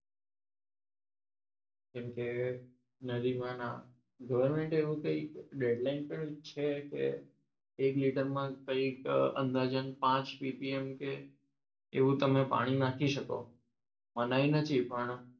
જેમકે નદીમાં ગવર્મેન્ટ એવું dadline છે કે એક લીટરમાં કંઈક અંદાજિત પાંચ PPM કે એવું તમે ના પાણી નાખી શકો મનાઈ નથી પણ